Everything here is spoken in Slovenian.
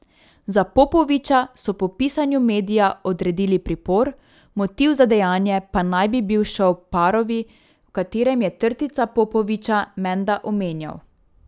Za Popovića so po pisanju medija odredili pripor, motiv za dejanje pa naj bi bil šov Parovi, v katerem je Trtica Popovića menda omenjal.